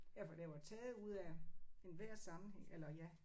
Ja for det var taget ud af enhver sammenhæng eller ja